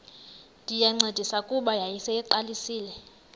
ndayincedisa kuba yayiseyiqalisile